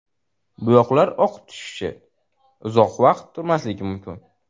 Bo‘yoqlar oqib tushishi, uzoq vaqt turmasligi mumkin.